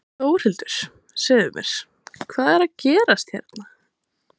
Þórhildur, segðu mér, hvað er að fara gerast hérna?